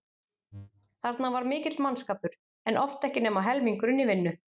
Þarna var mikill mannskapur en oft ekki nema helmingurinn í vinnu.